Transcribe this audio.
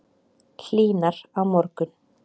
Hlýnar á morgun